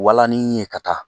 Walanin ye ka taa